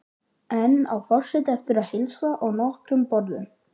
Enn á forseti eftir að heilsa á nokkrum borðum.